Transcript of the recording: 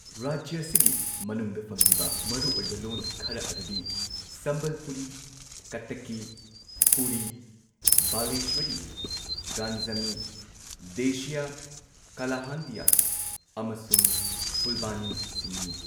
ꯔꯥꯖ꯭ꯌ ꯑꯁꯤꯒꯤ ꯃꯅꯨꯡꯗ ꯐꯪꯂꯤꯕ ꯃꯔꯨꯑꯣꯏꯕ ꯂꯣꯟ ꯈꯔ ꯑꯗꯨꯗꯤ ꯁꯝꯕꯜꯄꯨꯔꯤ, ꯀꯠꯇꯛꯀꯤ, ꯄꯨꯔꯤ, ꯕꯥꯂꯦꯁ꯭ꯋꯥꯔꯤ, ꯒꯟꯖꯥꯃꯤ, ꯗꯦꯁꯤꯌꯥ, ꯀꯥꯂꯥꯍꯟꯗꯤꯌꯥ ꯑꯃꯁꯨꯡ ꯐꯨꯜꯕꯥꯅꯤꯁꯤꯡꯅꯤ꯫